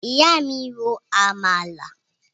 Ìyá mi ro àmàlà